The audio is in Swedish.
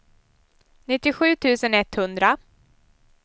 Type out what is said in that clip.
nittiosju tusen etthundra